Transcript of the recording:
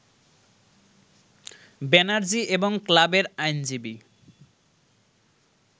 ব্যানার্জি এবং ক্লাবের আইনজীবী